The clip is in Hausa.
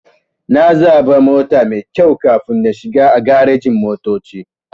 Sai na zaɓa mota maikyau kafin na shiga a garejin-motoci.